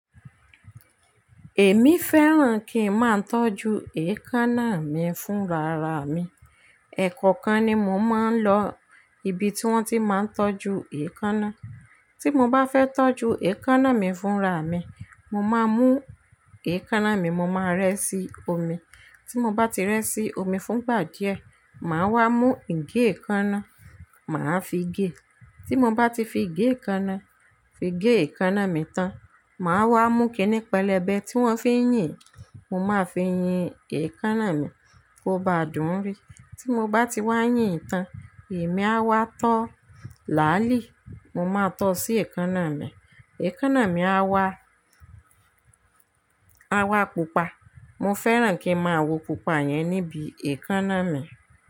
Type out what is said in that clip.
Èmi fẹ́ràn kí n máa ń tọ́jú èékánná mi fún rara mi. Ẹ̀kọ́ọkan ni mo máa ń lọ ibi tí wón ti máa ń tọ́jú èékánná. Tí mo bá fẹ́ tọ́jú èékánná mi fún ra mi, mo máa mú èékánná mi, mo máa rẹ́ sí omi. Tí mo bá ti rẹ́ sí omi fún ìgbà díẹ̀, màá wá mú ige èékánná, màá fi gé. Tí mo bá ti fi ige èékánná fi gé èékánná mi tán, màá wá mú kiní pẹlẹbẹ tí wón fi ń yìn, mo máa fi yìn èékánná mi kó ba dùn ún rí. Tí mo bá ti wá yìn tán, èmi a wá tọ́ láàlì, mo máa tọ́ sí èékánná mi. Èékánná mi á wá, á wá pupa. Mo fẹ́ràn kí n máa wo pupa yẹn níbi èékánná mi.